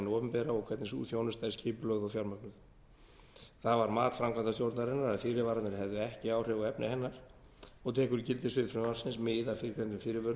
opinbera og hvernig sú þjónusta er skipulögð og fjármögnuð það var mat framkvæmdastjórnarinnar að fyrirvararnir hefðu ekki áhrif á efni hennar og tekur gildissvið frumvarpsins mið af fyrrgreindum fyrirvörum